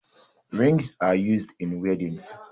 Rings are used in weddings